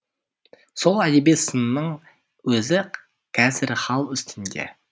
сол әдеби сынның өзі қазір хал үстінде